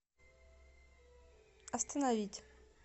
остановить